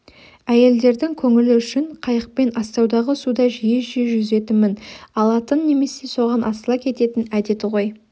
әйелдерінің көңілі үшін қайықпен астаудағы суда жиі-жиі жүзетінмін алатын немесе соған асыла кететін әдеті ғой